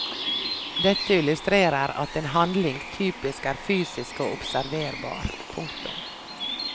Dette illustrerer at en handling typisk er fysisk og observerbar. punktum